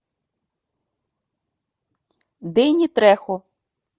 дэнни трехо